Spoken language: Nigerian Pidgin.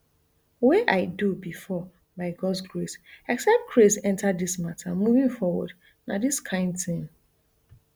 wey i do before by gods grace except crase enta dis mata moving forward na di kain tin